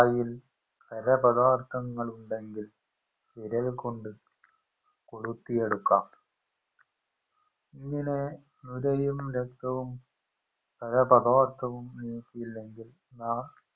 വായിൽ പല പഥാർത്ഥങ്ങൾ ഉണ്ടെങ്കിൽ വിരൽ കൊണ്ട് കൊളുത്തിയെടുക്കാം ഇങ്ങനെ നുരയും രക്തവും പല പാതാർത്ഥവും നീക്കിയില്ലെങ്കിൽ നാം